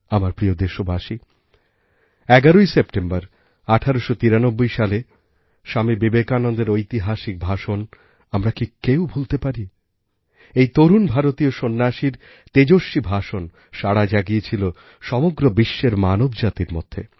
আমার প্রিয় দেশবাসী ১১সেপ্টেম্বর ১৮৯৩সালে স্বামী বিবেকানন্দের ঐতিহাসিক ভাষণ আমরা কি কেউ ভুলতে পারি এই তরুণ ভারতীয় সন্ন্যাসীর তেজস্বী ভাষণ সাড়া জাগিয়েছিল সমগ্র বিশ্বের মানবজাতির মধ্যে